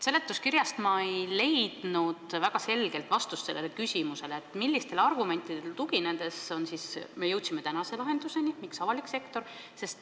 Seletuskirjast ei leidnud ma väga selget vastust küsimusele, millistele argumentidele tuginedes me oleme jõudnud tänase lahenduseni, et miks avalik sektor.